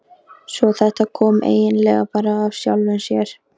Svo þetta kom eiginlega bara af sjálfu sér.